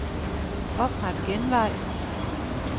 Opret genvej.